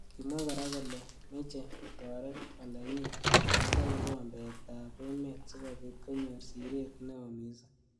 Kimwa kora kole meche kotoret olenyi akobo kikombet ab emet sikobit konyor siret neo missing.